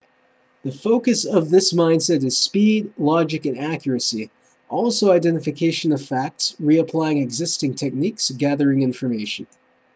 the focus of this mindset is speed logic and accuracy also identification of facts reapplying existing techniques gathering information